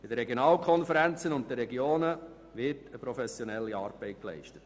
In den Regionalkonferenzen und den Regionen wird eine professionelle Arbeit geleistet.